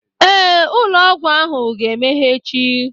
Ee, ụlọ ọgwụ ahụ ga-emeghe echi